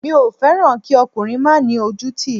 Mi ò fẹ́ràn kí ọkùnrin má ni ojútì